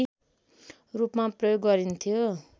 रूपमा प्रयोग गरिन्थ्यो